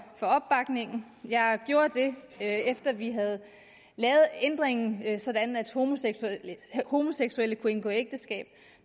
opbakningen jeg gjorde det efter vi havde lavet ændringen sådan at homoseksuelle kan indgå ægteskab